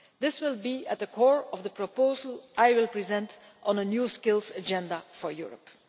This will be at the core of the proposal that I will be presenting on a New Skills Agenda for Europe.